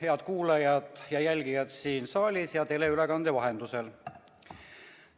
Head kuulajad ja jälgijad siin saalis ja teleülekande vahendusel!